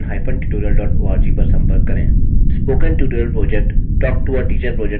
यह स्क्रिप्ट देवेन्द्र कैरवान द्वारा अनुवादित हैआईआईटीबॉम्बे की और से मैं रवि कुमार अब आपसे विदा लेता हूँ